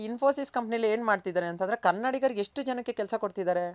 ಈ Infosys company ಅಲ್ಲಿ ಏನ್ ಮಾಡ್ತಿದ್ದಾರೆ ಅಂದ್ರೆ ಕನ್ನಡಿಗರಿಗ್ ಎಷ್ಟು ಜನಕ್ಕೆ ಕೆಲ್ಸ ಕೊಡ್ತಿದ್ದಾರೆ.